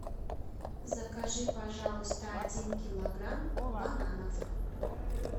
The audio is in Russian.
закажи пожалуйста один килограмм бананов